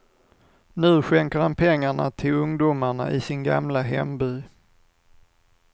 Nu skänker han pengarna till ungdomarna i sin gamla hemby.